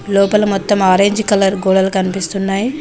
లోపల మొత్తం orange colour గోడలు కనిపిస్తున్నాయి.